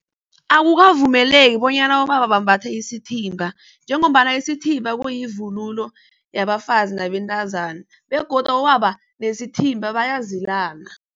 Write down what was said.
Akukavumeleki bonyana abobaba bambathe isithimba, njengombana isithimba kuyivunulo yabafazi nabentazana. Begodu abobaba nesithimba bayazilana.